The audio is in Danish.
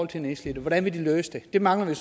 de nedslidte hvordan vil de løse det det mangler vi